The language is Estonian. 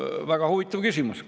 Väga huvitav küsimus.